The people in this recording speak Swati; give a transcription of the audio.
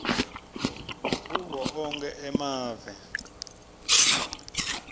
kuwo onkhe emave